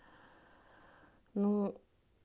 ну